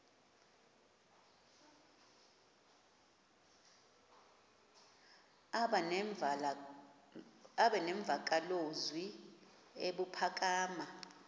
aba nemvakalozwi ebuphakama